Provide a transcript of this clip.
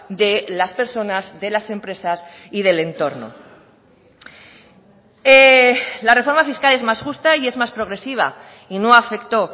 de las personas de las empresas y del entorno la reforma fiscal es más justa y es más progresiva y no afectó